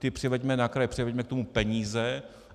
Ty přiveďme na kraje, převeďme k tomu peníze.